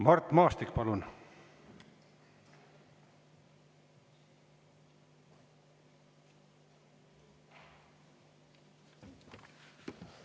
Mart Maastik, palun!